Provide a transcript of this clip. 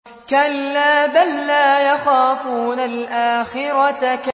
كَلَّا ۖ بَل لَّا يَخَافُونَ الْآخِرَةَ